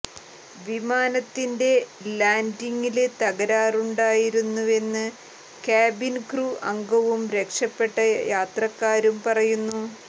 വിമാനത്തിന്റെ ലാന്ഡിംഗില് തകരാറുണ്ടായിരുന്നുവെന്ന് കാബിന് ക്രു അംഗവും രക്ഷപ്പെട്ട യാത്രക്കാരും പറയുന്നു